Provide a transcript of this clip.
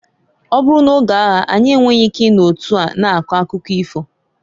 Ọ bụrụ n'oge aya anyị enweghi ike i no otu a na-akọ akụkọ ifo.